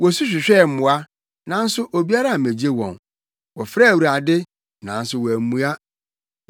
Wosu hwehwɛɛ mmoa, nanso obiara ammegye wɔn, wɔfrɛɛ Awurade, nanso wammua.